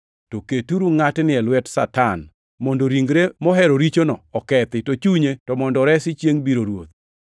to keturu ngʼatni e lwet Satan mondo ringre mohero richono okethi, to chunye to mondo oresi chiengʼ biro Ruoth.